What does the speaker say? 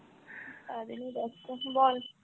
কাজ নিয়ে ব্যাস্ত, বল।